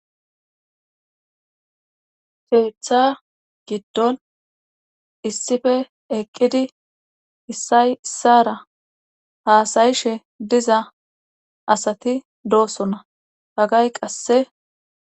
sheeththa giddon issife eqqidi issay issara haasayishshe diza asati doosona bagay qasse